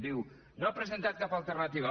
diu no ha presentat cap alternativa